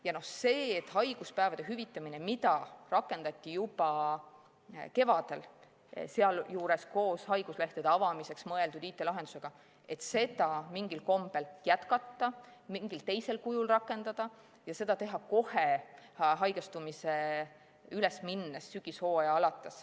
Ja seda, et haiguspäevade hüvitamist, mida rakendati juba kevadel, sealjuures koos haiguslehtede avamiseks mõeldud IT-lahendusega, mingil kombel jätkata, mingil teisel kujul rakendada, oleks tulnud teha kohe haigestumise üles minnes, sügishooaja alguses.